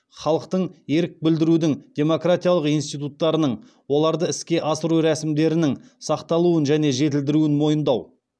халықтың ерік білдірудің демократиялық институттарының оларды іске асыру рәсімдерінің сақталуын және жетілдірілуін мойындау